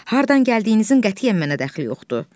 Hardan gəldiyinizin qətiyyən mənə dəxli yoxdur.